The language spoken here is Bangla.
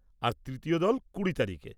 আর তৃতীয় দল কুড়ি তারিখে।